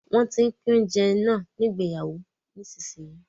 Wọ́n tín pín oúnjẹ ní ìgbéyàwó náà nísinsìnyí